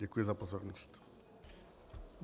Děkuji za pozornost.